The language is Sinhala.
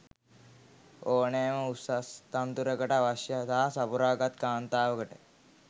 ඕනෑම උසස් තනතුරකට අවශ්‍යතා සපුරා ගත් කාන්තාවකට